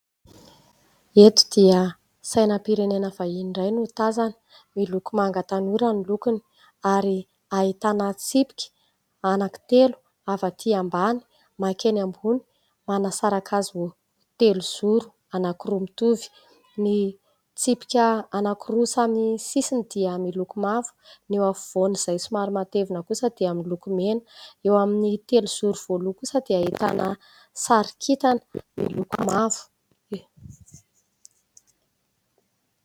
eto dia sainampirenena vahian iray no tazany milokomanga tanora ny lokony ary ahitana tsipika anak'itelo avy atỳ ambany mankeny ambony manasaraka azy ho telo zoro anakoroamitovy ny tsipika anakoroa samy sisiny dia miloko mavo neo afovoan'izay somaromatevona kosa dia aminylokomena eo amin'ny telo zoro voaloha kosa dia hitana sarikitana miloko mavo